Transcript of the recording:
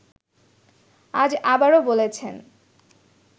আজ আবারও বলেছেন